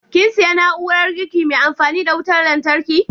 Kin siya na'urar girki mai amfani da wutar lantarki?